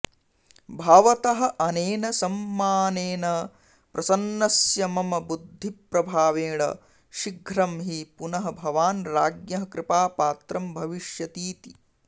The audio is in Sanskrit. भवतः अनेन सम्मानेन प्रसन्नस्य मम बुद्धिप्रभावेण शीघ्रं हि पुनः भवान् राज्ञः कृपापात्रं भविष्यतीति